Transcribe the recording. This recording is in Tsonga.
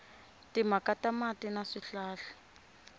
timhaka ta mati na swihlahla